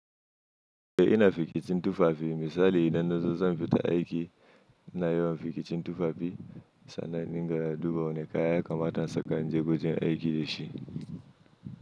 To ina fiki cin tufafi misali idan na zo zan fita aiki ina yawan fiki cin tufafi sannan in dinga duba wane kaya kamar na saka wajen aiki da shi.